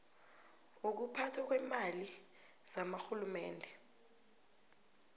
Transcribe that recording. wokuphathwa kweemali zakarhulumende